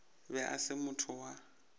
be e se motho wa